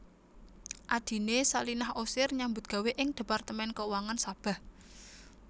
Adhiné Salinah Osir nyambut gawé ing Departemen Keuangan Sabah